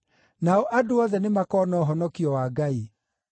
Nao andũ othe nĩmakona ũhonokio wa Ngai.’ ”